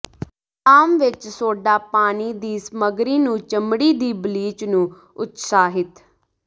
ਆਮ ਵਿੱਚ ਸੋਡਾ ਪਾਣੀ ਦੀ ਸਮੱਗਰੀ ਨੂੰ ਚਮੜੀ ਦੀ ਬਲੀਚ ਨੂੰ ਉਤਸ਼ਾਹਿਤ